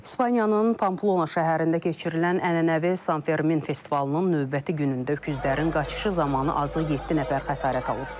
İspaniyanın Pamplona şəhərində keçirilən ənənəvi San Fermin festivalının növbəti günündə öküzlərin qaçışı zamanı azı yeddi nəfər xəsarət alıb.